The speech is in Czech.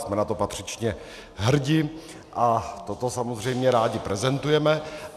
Jsme na to patřičně hrdi a toto samozřejmě rádi prezentujeme.